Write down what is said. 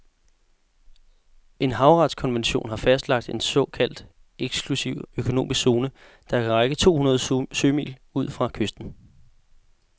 En havretskonvention har fastlagt en såkaldt eksklusiv økonomisk zone, der kan række to hundrede sømil ud fra kysten.